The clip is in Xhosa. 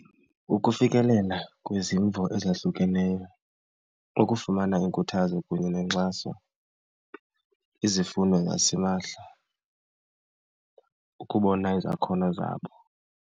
Ukufikelela kwezimvo ezahlukeneyo, ukufumana iinkuthazo kunye nenkxaso, izifundo zasimahla, ukubona izakhono zabo.